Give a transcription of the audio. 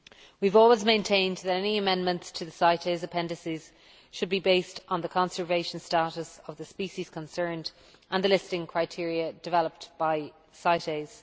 We have always maintained that any amendments to the CITES appendices should be based on the conservation status of the species concerned and the listing criteria developed by CITES.